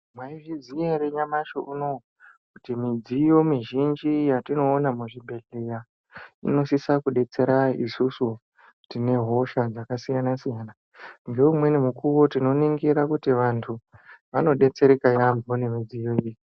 Maizviziva here nyamashi uno uyu kuti midziyo mizhinji yatinoona muzvibhedhlera inosisa kudetsera isusu tine hosha dzakasiyana siyana. Zvoumweni mukuru tinoningira kuti vantu vanodetsereka yaambo ngemidziyo iyi.